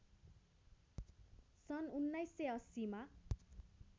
सन् १९८० मा